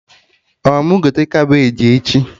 Ọ mụ gote Kabeji echi?